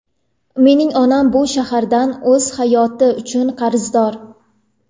Mening onam bu shahardan o‘z hayoti uchun qarzdor.